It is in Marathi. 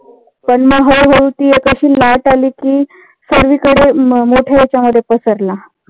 पण मग हळू हळू ती एक अशी लाट आली. कि सगळीकडे मोठ्या ह्याच्या मध्ये पसरला.